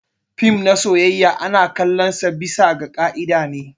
Fim na soyayya ana kalon su bisa ga kaida ne.